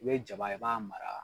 I bɛ jaba in i b'a mara